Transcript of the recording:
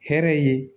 Hɛrɛ ye